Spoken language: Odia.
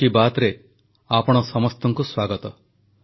• ବିଭିନ୍ନ ରାଜ୍ୟର ଏନସିସି କ୍ୟାଡେଟଙ୍କ ସହ ସିଧାସଳଖ କଥା ହେଲେ